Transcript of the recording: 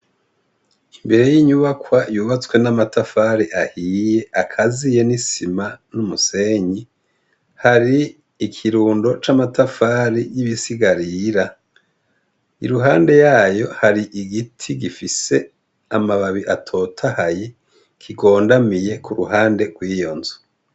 Imbere y' inyubakwa yubatswe n' amatafari ahiye akaziye n' isima n' umusenyi hari ikirundo c' amatafari y' ibisigarira, iruhande yayo hari igiti gifise amababi atotahaye kigondamiye kuruhande gw' iyo nzu.